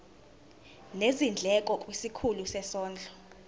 nezindleko kwisikhulu sezondlo